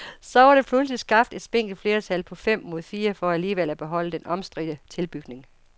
Så var der pludselig skabt et spinkelt flertal på fem mod fire for alligevel at beholde den omstridte tilbygning.